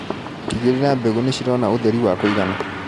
Tigĩrĩra mbegũ nĩcirona ũtheri wa kũigana.